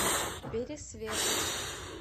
пересвету